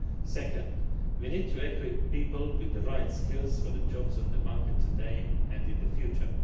Second, we need to equip people with the right skills for the jobs on the market today and in the future.